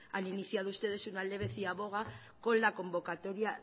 han iniciado ustedes una leve ciaboga con la convocatoria